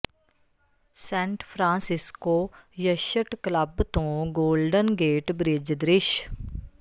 Saint Francisco Yacht Club ਤੋਂ Golden Gate Bridge ਦ੍ਰਿਸ਼